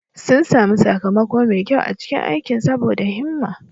Sun sami sakamako mai kyau a cikin aikin saboda himma.